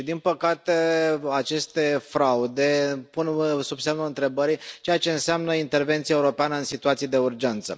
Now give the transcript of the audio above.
Din păcate, aceste fraude pun sub semnul întrebării ceea ce înseamnă intervenția europeană în situații de urgență.